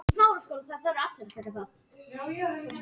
Guðráður, hvar er dótið mitt?